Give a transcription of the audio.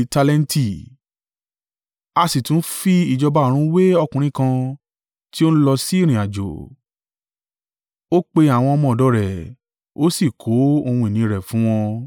“A sì tún fi ìjọba ọ̀run wé ọkùnrin kan tí ó ń lọ sí ìrìnàjò. Ó pe àwọn ọmọ ọ̀dọ̀ rẹ̀, ó sì kó ohun ìní rẹ̀ fún wọn.